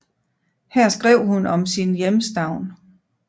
Her skrev hun om sin hjemstavn